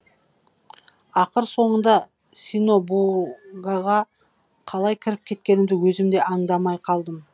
ақыр соңында синобу гаға қалай кіріп кеткенімді өзім де аңдамай қалдым